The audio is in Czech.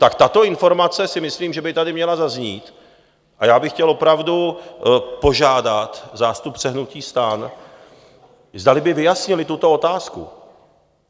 Tak tato informace si myslím, že by tady měla zaznít, a já bych chtěl opravdu požádat zástupce hnutí STAN, zdali by vyjasnili tuto otázku.